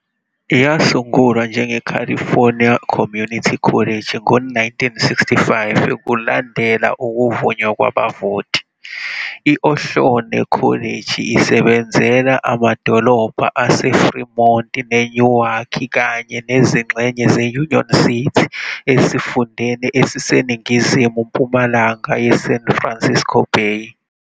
Yasungulwa njengeCalifornia Community College ngo-1965 kulandela ukuvunywa kwabavoti, i-Ohlone College isebenzela amadolobha aseFremont neNewark kanye nezingxenye ze-Union City esifundeni esiseningizimu-mpumalanga yeSan Francisco Bay.